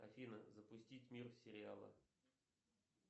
афина запустить мир сериала